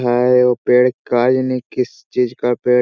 है ये पेड़ का एने किस चीज का पेड़--